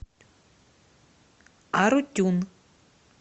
арутюн